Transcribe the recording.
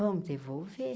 Vamos devolver?